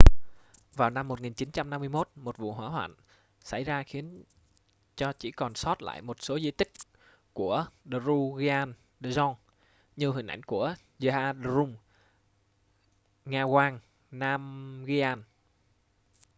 vào năm 1951 một vụ hỏa hoạn xảy ra khiến cho chỉ còn sót lại một số di tích của drukgyal dzong như hình ảnh của zhabdrung ngawang namgyal